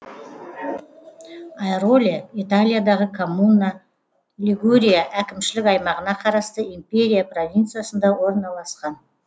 айроле италиядағы коммуна лигурия әкімшілік аймағына қарасты империя провинциясында орналасқан